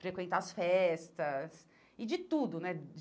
Frequentar as festas e de tudo, né?